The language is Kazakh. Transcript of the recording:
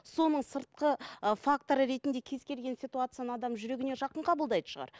соның сыртқы ы факторы ретінде кез келген ситуацияны адам жүрегіне жақын қабылдайтын шығар